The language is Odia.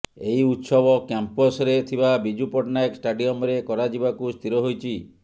ଏହି ଉତ୍ସବ କ୍ୟାମ୍ପସରେ ଥିବା ବିଜୁ ପଟ୍ଟନାୟକ ଷ୍ଟାଡିୟମରେ କରାଯିବାକୁ ସ୍ଥିର ହୋଇଛି